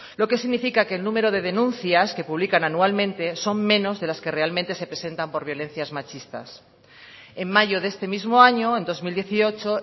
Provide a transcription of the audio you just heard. lo que significa que el número de denuncias que publican anualmente son menos de las que realmente se presentan por violencias machistas en mayo de este mismo año en dos mil dieciocho